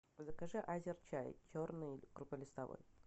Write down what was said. закажи азерчай черный крупнолистовой